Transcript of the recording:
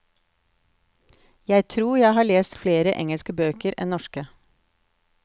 Jeg tror jeg har lest flere engelske bøker enn norske.